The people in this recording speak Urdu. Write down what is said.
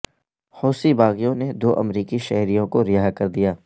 حوثی باغیوں نے دو امریکی شہریوں کو رہا کر دیا